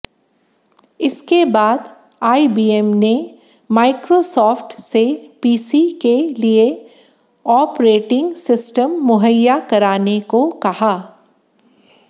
इसके बाद आईबीएम ने माइक्रोसॉफ्ट से पीसी के लिए ऑपरेटिंग सिस्टम मुहैया कराने को कहा